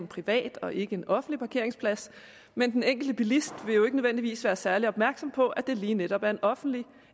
privat og ikke en offentlig parkeringsplads men den enkelte bilist vil jo ikke nødvendigvis være særlig opmærksom på det lige netop er en offentlig